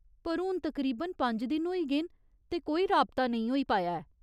पर हून तकरीबन पंज दिन होई गे न ते कोई राबता नेईं होई पाया ऐ।